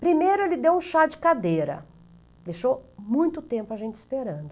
Primeiro ele deu um chá de cadeira, deixou muito tempo a gente esperando.